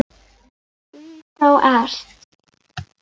Það hafði mátt minna heyra.